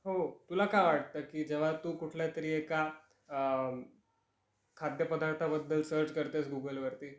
हो तुला काय वाटत की जेव्हा तू कुठल्या तरी एका खाद्य पदार्थाबद्दल सर्च करतेस गूगल वरती